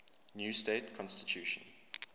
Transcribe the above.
new state constitution